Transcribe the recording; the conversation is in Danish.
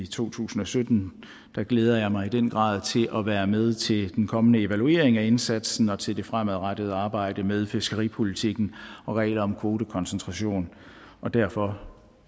to tusind og sytten glæder jeg mig i den grad til at være med til den kommende evaluering af indsatsen og til det fremadrettede arbejde med fiskeripolitikken og regler om kvotekoncentration derfor